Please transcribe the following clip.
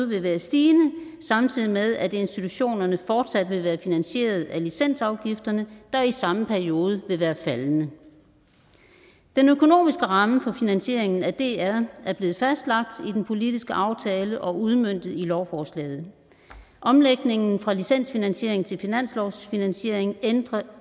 vil være stigende samtidig med at institutionerne fortsat vil være finansieret af licensafgifterne der i samme periode vil være faldende den økonomiske ramme for finansieringen af dr er blevet fastlagt i den politiske aftale og udmøntet i lovforslaget omlægningen fra licensfinansiering til finanslovsfinansiering ændrer